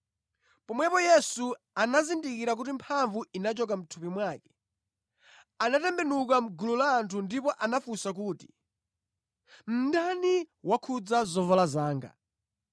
Pomwepo Yesu anazindikira kuti mphamvu inachoka mʼthupi mwake. Anatembenuka mʼgulu la anthu ndipo anafunsa kuti, “Ndani wakhudza zovala zanga?”